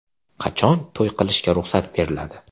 Qachon to‘y qilishga ruxsat beriladi?